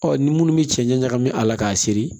Ɔ ni minnu bɛ cɛncɛn ɲagami a la k'a seri